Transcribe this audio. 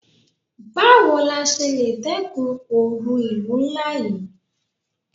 Báwo la ṣe le dẹ́kun oru ìlú ńlá yí?